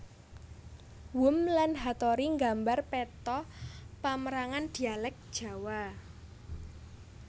Wurm lan Hattori nggambar peta pamérangan dhialèk Jawa